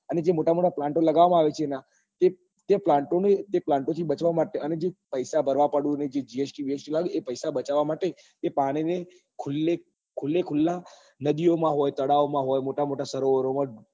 અને જે મોટા મોટા plant ઓ લગાવવા માં આવે છે એના તે plant ને તે plant ઓ થી બચવા માટે અને જે પૈસા ભરવા પડે ને જે gst વી એસ ટીલાગે ને એ પૈસા બચવવા માટે એ પાણી ને ખુલ્લે ખુલ્લા નદીઓ માં હોય તળાવ માં હોય મોટા મોટા સરોવર માં હોય